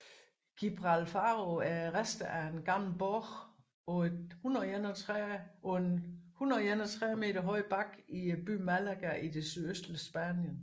Gibralfaro er resterne af en gammel borg på et 131 meter høj bakke i byen Málaga i det sydøstlige Spanien